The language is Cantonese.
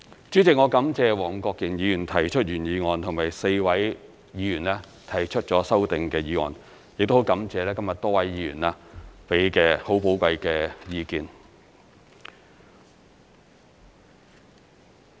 主席，我感謝黃國健議員提出原議案，以及4位議員提出了修正案，亦感謝今天多位議員給予寶貴的意見。